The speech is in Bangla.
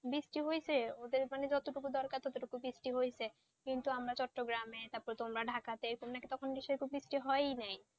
বৃষ্টি হয়েছে যাদের যত টুকু দরকার তত টুকু বৃষ্টি হয়েছে কিন্তু আমাদের চ্চট্টগ্রাম তারপরে ঢাকাতে সেই রকম বৃষ্টি হয়নি